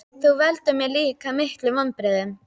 Þú veldur mér líka miklum vonbrigðum.